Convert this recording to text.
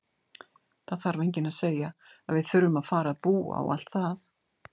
Það er enginn að segja að við þurfum að fara að búa og allt það!